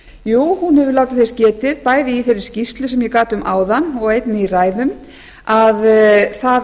jú hún hefur látið þess getið bæði í þeirri skýrslu sem ég gat um áðan og einnig í ræðum að það